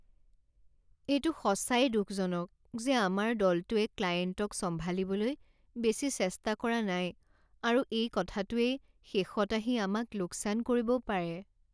এইটো সঁচাই দুখজনক যে আমাৰ দলেটোৱে ক্লায়েণ্টক চম্ভালিবলৈ বেছি চেষ্টা কৰা নাই আৰু এই কথাটোৱেই শেষত আহি আমাক লোকচান কৰিবও পাৰে।